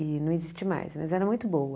E não existe mais, mas era muito boa.